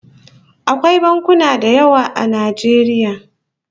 Akwai bankuna da yawa a Najeriya